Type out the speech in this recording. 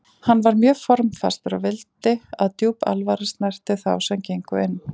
Hann var mjög formfastur og vildi að djúp alvara snerti þá sem gengu inn.